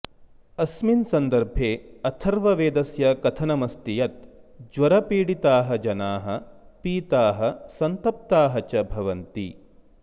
अस्मिन् सन्दर्भे अथर्ववेदस्य कथनमस्ति यत् ज्वरपीडिताः जनाः पीताः सन्तप्ताः च भवन्ति